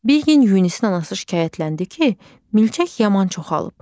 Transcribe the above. Bir gün Yunisin anası şikayətləndi ki, milçək yaman çoxalıb.